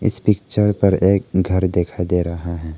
इस पिक्चर पर एक घर दिखाई दे रहा है।